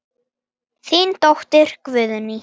Þín dóttir, Guðný.